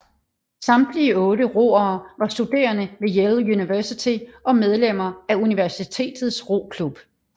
Samtlige otte roere var studerende ved Yale University og medlemmer af universitetets roklub